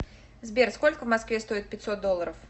сбер сколько в москве стоит пятьсот долларов